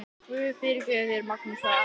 Guð fyrirgefi þér, Magnús, sagði amma.